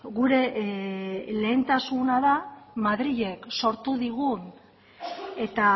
gure lehentasuna da madrilek sortu digun eta